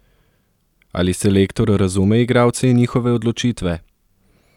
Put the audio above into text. Ali selektor razume igralce in njihove odločitve?